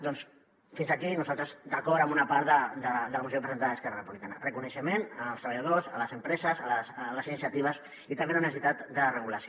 doncs fins aquí nosaltres d’acord amb una part de la moció presentada d’esquerra republicana reconeixement als treballadors a les empreses a les iniciatives i també a la necessitat de regulació